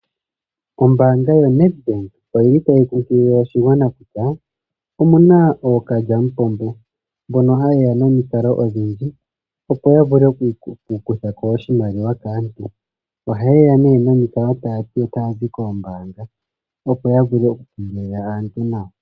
Ombaanga yoNEDBANK oyili tayi nkunkilile oshigwana kutya omuna ookalyamupombo mbon hayeya nomikalo odhindji opo ya vule okukutha ko oshimaliwa kaantu ohayeya nee nomikalo taya ti otaya zi koombaanga opo ya vule okukengelela aantu nawa.